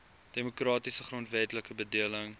demokratiese grondwetlike bedeling